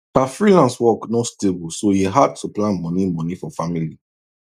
her freelance work no stable so e hard to plan money money for family